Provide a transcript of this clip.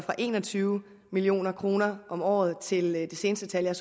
en og tyve million kroner om året til det seneste tal jeg